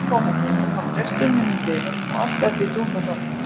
Í miðju tónaflóðinu kom presturinn innúr dyrunum og allt datt í dúnalogn.